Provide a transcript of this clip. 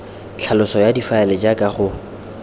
tlhaloso ya difaele jaaka go